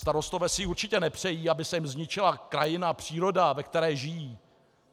Starostové si určitě nepřejí, aby se jim zničila krajina, příroda, ve které žijí.